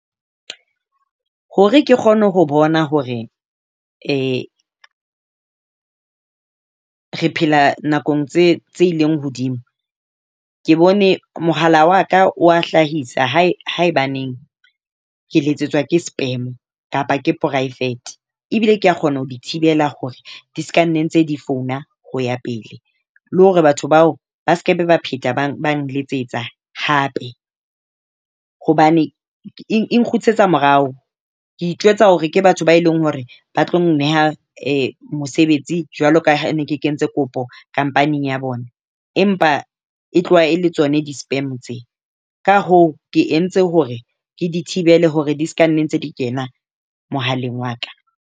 Hore ke kgone ho bona hore re phela nakong tse tse ileng hodimo, ke bone mohala wa ka wa hlahisa haebaneng ke letsetswa ke spam kapa ke poraefete ebile ke a kgona ho di thibela hore di seka ne ntse di founa ho ya pele. Le hore batho bao ba sekebe ba pheta ba nletsetsa hape hobane e nkgutlisetsa morao. Ke itjwetsa hore ke batho ba e leng hore ba tlo nneha mosebetsi jwalo ka ne ke kentse kopo company ya bona, empa e tloha e le tsona di-spam tseo. Ka hoo ke entse hore ke di thibele hore di seka nna ntse di kena mohaleng wa ka.